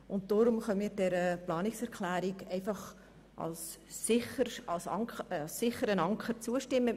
Deshalb können wir dieser Planungserklärung als sicherem Anker zustimmen.